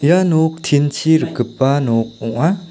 ia nok tin-chi rikgipa nok ong·a.